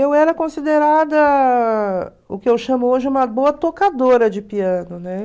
Eu era considerada, o que eu chamo hoje, uma boa tocadora de piano, né?